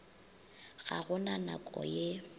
ga go na nako ye